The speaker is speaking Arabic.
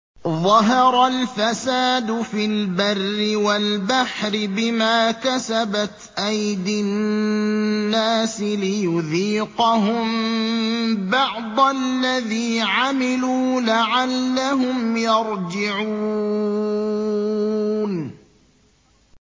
ظَهَرَ الْفَسَادُ فِي الْبَرِّ وَالْبَحْرِ بِمَا كَسَبَتْ أَيْدِي النَّاسِ لِيُذِيقَهُم بَعْضَ الَّذِي عَمِلُوا لَعَلَّهُمْ يَرْجِعُونَ